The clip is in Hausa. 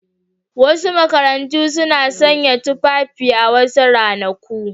Wasu makarantu suna sanya wasu tufafi a wasu ranaku.